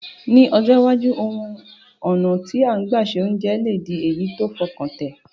Ní ọjọ́ iwájú, àwon ọ̀nà ti gbà se ounje le di èyí ti fọkàntẹ̀